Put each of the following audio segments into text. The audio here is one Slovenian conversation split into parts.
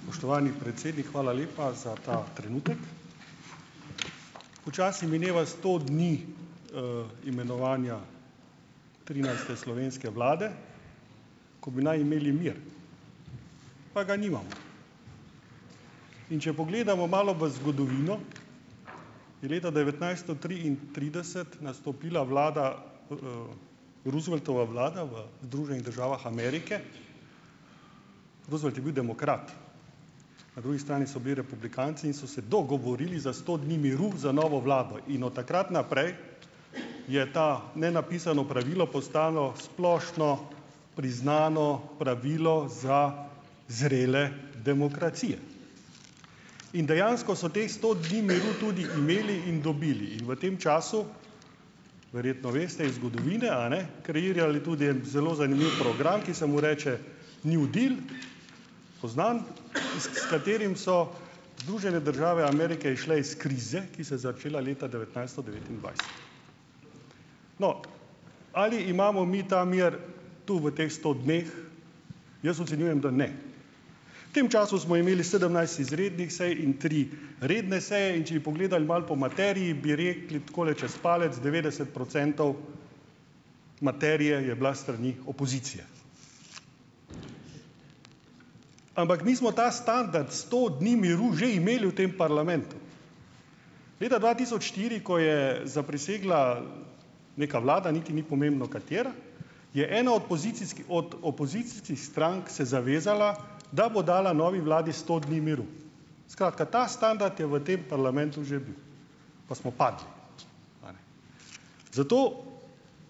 Spoštovani predsednik, hvala lepa za ta trenutek. Počasi mineva sto dni, imenovanja trinajste slovenske vlade, ko bi naj imeli mir. Pa ga nimamo. In če pogledamo malo v zgodovino, je leta devetnajststo triintrideset nastopila vlada, Rooseveltova vlada v Združenih državah Amerike. Roosevelt je bil demokrat. Na drugi strani so bili republikanci in so se dogovorili za sto dni miru za novo vlado in od takrat naprej je to nenapisano pravilo postalo splošno priznano pravilo za zrele demokracije. In dejansko so teh sto dni miru tudi imeli in dobili in v tem času, verjetno veste iz zgodovine, a ne, kreirali tudi en zelo zanimiv program, ki se mu reče New deal, poznan, iz, s katerim so Združene države Amerike izšle iz krize, ki se je začela leta devetnajststo devetindvajset. No, ali imamo mi ta mir tu v teh sto dneh? Jaz ocenjujem, da ne. V tem času smo imeli sedemnajst izrednih sej in tri redne seje, in če bi pogledali malo po materiji, bi rekli tako čez palec, devetdeset procentov materije je bilo s strani opozicije. Ampak mi smo ta standard sto dni miru že imeli v tem parlamentu. Leta dva tisoč štiri, ko je zaprisegla neka vlada, niti ni pomembno katera, je ena od pozicijskih, od opozicijskih strank se zavezala, da bo dala novi vladi sto dni miru. Skratka, ta standard je v tem parlamentu že bil. Pa smo padli. Zato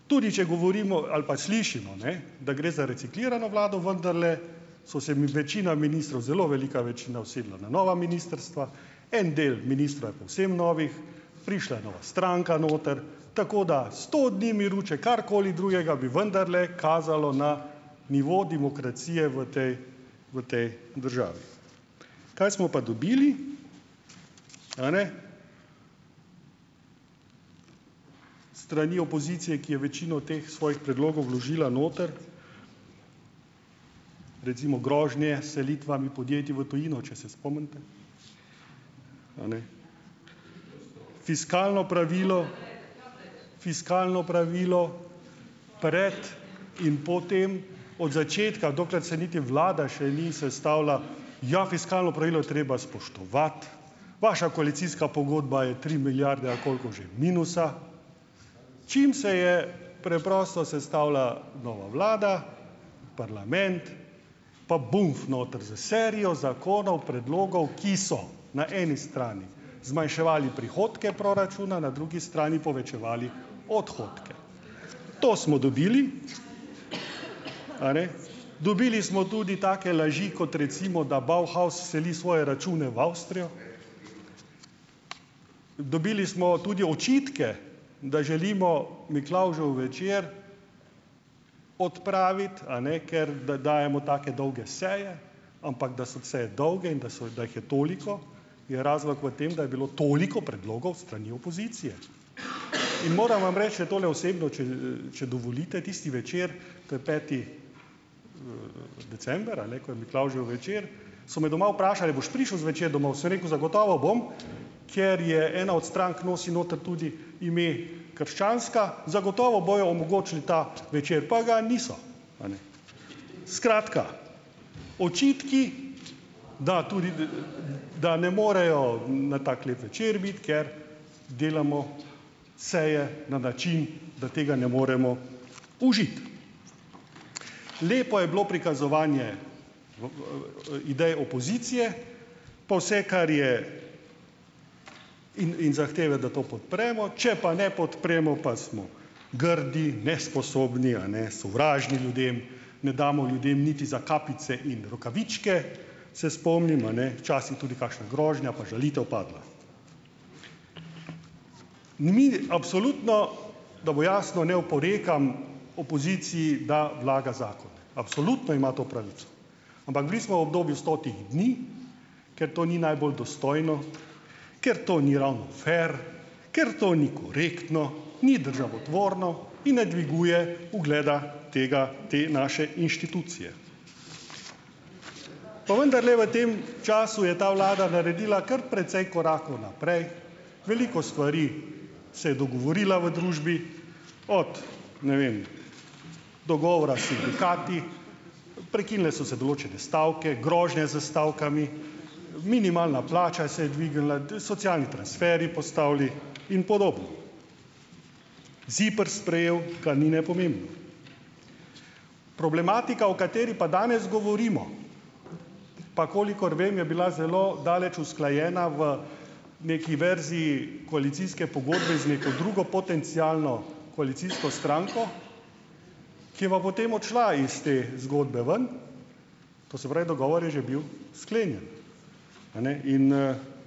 tudi če govorimo ali pa slišimo, ne, da gre za reciklirano vlado, vendarle so se mi večina ministrov, zelo velika večina, usedla na nova ministrstva, en del ministrov je povsem novih, prišla je nova stranka noter, tako da sto dni miru, če karkoli drugega, bi vendarle kazalo na nivo demokracije v tej v tej državi. Kaj smo pa dobili, a ne, s strani opozicije, ki je večino teh svojih predlogov vložila noter? Recimo grožnje s selitvami podjetij v tujino, če se spomnite. Fiskalno pravilo, fiskalno pravilo pred in po tem. Od začetka, dokler se niti vlada še ni sestavila: "Ja, fiskalno pravilo je treba spoštovati." Vaša koalicijska pogodba je tri milijarde, ali koliko že , minusa. Čim se je preprosto sestavila nova vlada, parlament, pa bumf noter s serijo zakonov, predlogov, ki so na eni strani zmanjševali prihodke proračuna, na drugi strani povečevali odhodke. To smo dobili. A ne? Dobili smo tudi take laži, kot recimo, da Bauhaus celi svoje račune v Avstrijo. Dobili smo tudi očitke, da želimo Miklavžev večer odpraviti, a ne, ker da dajemo take dolge seje, ampak da so seje dolge in da so, da jih je toliko, je razlog v tem, da je bilo toliko predlogov s strani opozicije. In moram vam reči, da tole osebno, če, če dovolite, tisti večer, to je peti december, a ne? Ko je Miklavžev večer, so me doma vprašali, a boš prišel zvečer domov? Sem rekel: "Zagotovo bom, ker je ena od strank, nosi noter tudi ime krščanska, zagotovo bojo omogočili ta večer." Pa ga niso. A ne. Skratka, očitki, da tudi, da ne morejo na tako lep večer biti, ker delamo seje na način, da tega ne moremo užiti. Lepo je bilo prikazovanje, idej opozicije pa vse, kar je, in in zahteve, da to podpremo, če pa ne podpremo, pa smo grdi, nesposobni, a ne, sovražni ljudem, ne damo ljudem niti za kapice in rokavičke, se spomnim, a ne. Včasih je tudi kakšna grožnja pa žalitev padla. Ni, absolutno, da bo jasno, ne oporekam opoziciji, da vlaga zakon. Absolutno ima to pravico. Ampak bili smo v obdobju stotih dni, ker to ni najbolj dostojno, ker to ni ravno fer, ker to ni korektno, ni državotvorno in ne dviguje ugleda tega, te naše inštitucije. Pa vendarle v tem času je ta vlada naredila kar precej korakov naprej, veliko stvari se je dogovorila v družbi, od, ne vem, dogovora s sindikati, prekinile so se določene stavke, grožnje s stavkami, minimalna plača se je dvignila, socialni transferji postavili in podobno. ZIPRS sprejel, kar ni nepomembno. Problematika, o kateri pa danes govorimo, pa kolikor vem, je bila zelo daleč usklajena v neki verziji koalicijske pogodbe z neko drugo potencialno koalicijsko stranko, ki je pa potem odšla iz te zgodbe ven, to se pravi, dogovor je že bil sklenjen. A ne? In,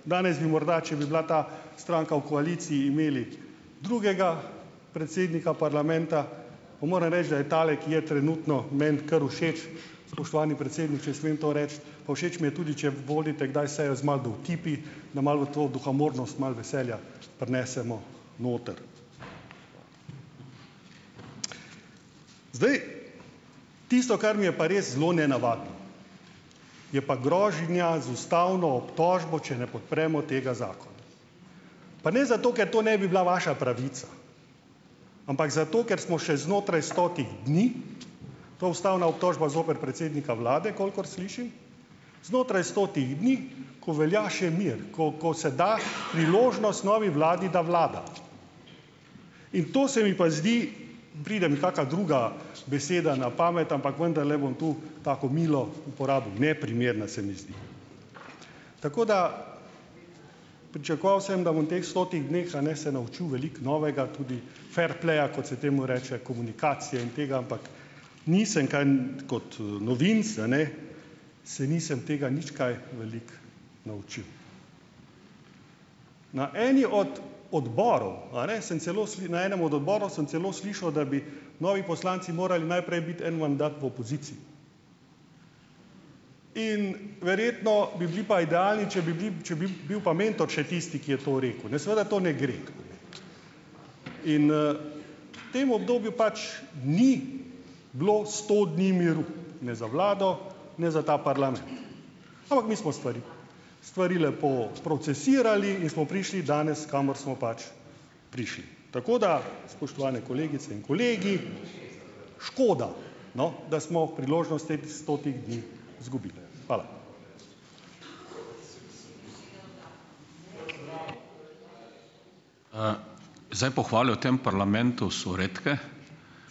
danes bi morda, če bi bila ta stranka v koaliciji, imeli drugega predsednika parlamenta, pa moram reči, da je tale, ki je trenutno, meni kar všeč, spoštovani predsednik, če smem to reči, pa všeč mi je tudi, če vodite kdaj sejo z malo dovtipi, da malo v to duhamornost malo veselja prinesemo noter. Zdaj. Tisto, kar mi je pa res zelo nenavadno, je pa grožnja z ustavno obtožbo, če ne podpremo tega zakona. Pa ne zato, ker to ne bi bila vaša pravica, ampak zato, ker smo še znotraj stotih dni, to ustavna obtožba zoper predsednika vlade, kolikor slišim, znotraj stotih dni, ko velja še mir, ko, ko se da priložnost novi vladi, da vlada. In to se mi pa zdi, pride mi kaka druga beseda na pamet, ampak vendarle bom tu tako milo uporabil, neprimerna se mi zdi. Tako da ... Pričakoval sem, da bom v teh stotih dneh, a ne, se naučil veliko novega, tudi ferpleja, kot se temu reče, komunikacije in tega, ampak nisem kajnt, kot, novinec, a ne, se nisem tega nič kaj veliko naučil. Na enem od odborov, a ne, sem celo na enem od odborov sem celo slišal, da bi novi poslanci morali najprej biti en mandat v opoziciji. In verjetno bi bili pa idealni, če bi bili, če bi bil pa mentor še tisti, ki je to rekel, ne. Seveda to ne gre. In, v tem obdobju pač ni bilo sto dni miru, ne za vlado, ne za ta parlament. Ampak mi smo stvari, stvari lepo procesirali in smo prišli danes, kamor smo pač prišli. Tako da, spoštovane kolegice in kolegi, škoda, no, da smo priložnost teh stotih dni izgubili. Hvala.